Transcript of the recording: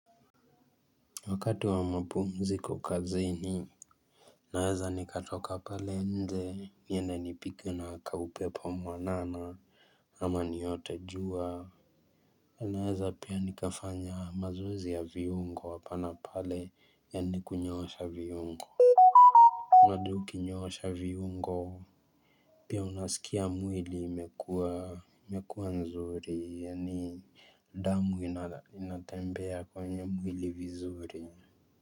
Wakati wa mapumziko kazini Naweza nikatoka pale nje niende nipigwe na kaupepo mwanana ama niote jua Naeza pia nikafanya mazoezi ya viungo hapa na pale yaani kunyoosha viungo Nadu ukinyoosha viungo Pia unasikia mwili imekuwa nzuri yaani damu inatembea kwenye mwili vizuri.